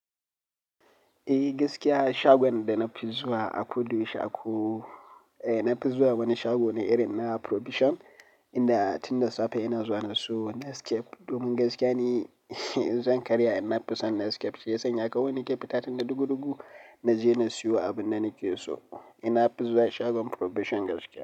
Eh gaskiya shagon da na fi zuwa a koda yaushe, eh na fi zuwa wani shago ne irin na provision inda tunda safe ina zuwa na siyo Nescafe domin gaskiya ne, zan karya in na fi san Nescafe shi ya sanya kawai ni ke fita tunda duku duku na je na siyo abin da nake so. Ina fi zuwa shagon provision gaskiya.